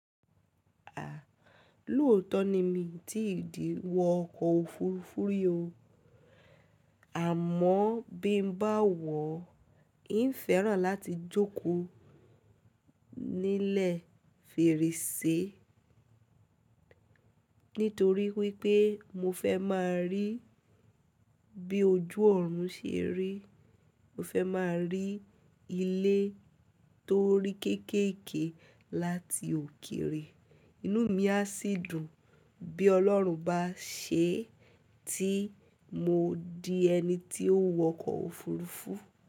À, lóòótọ́ ni mí tí ìdí wọ ọkọ̀ òfurufú rí o. Àmọ́ bí n bá wọ̀, n fẹ́ràn láti jókòó nílẹ̀ fèrèsé. Nítorí wípé mo fẹ́ máa rí bí ojú ọ̀run ṣe rí. Mo fẹ́ máa rí ilé tó rí kéékèèké láti òkèrè. Inú mí á sì dùn bí Ọlọ́run bá ṣé tí mo di ẹni tí ó wọkọ̀ òfurufú.